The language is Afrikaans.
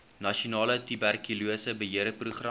nasionale tuberkulose beheerprogram